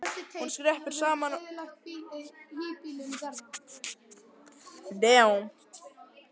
Hún skreppur saman hjá okkur sem ekki lifum fjörugu kynlífi.